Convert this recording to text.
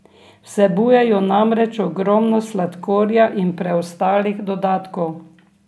Vsebujejo namreč ogromno sladkorja in preostalih dodatkov.